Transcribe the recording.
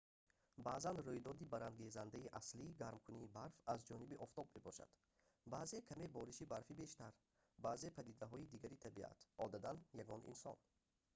баъзан рӯйдоди барангезандаи аслӣ гармкунии барф аз ҷониби офтоб мебошад баъзан каме бориши барфи бештар баъзан падидаҳои дигари табиат одатан ягон инсон